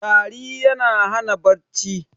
tari yana Hana bacci